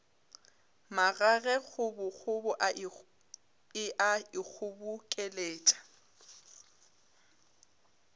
magage kgobokgobo e a ikgobokeletša